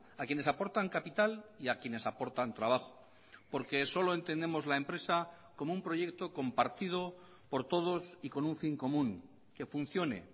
a quienes aportan capital y a quienes aportan trabajo porque solo entendemos la empresa como un proyecto compartido por todos y con un fin común que funcione